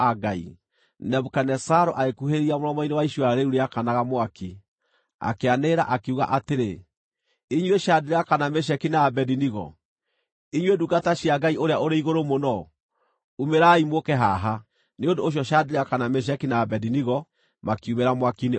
Nebukadinezaru agĩkuhĩrĩria mũromo-inĩ wa icua rĩu rĩakanaga mwaki, akĩanĩrĩra, akiuga atĩrĩ, “Inyuĩ Shadiraka, na Meshaki, na Abedinego, inyuĩ ndungata cia Ngai-Ũrĩa-ũrĩ Igũrũ-Mũno, umĩrai, mũũke haha!” Nĩ ũndũ ũcio Shadiraka, na Meshaki, na Abedinego makiumĩra mwaki-inĩ ũcio,